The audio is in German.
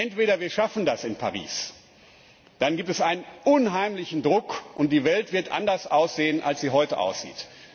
Entweder wir schaffen das in Paris, dann gibt es einen unheimlichen Druck, und die Welt wird anders aussehen, als sie heute aussieht.